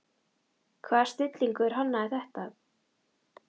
Hvaða snillingur hannaði þetta?